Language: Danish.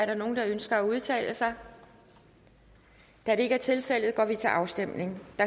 er nogen der ønsker at udtale sig da det ikke er tilfældet går vi til afstemning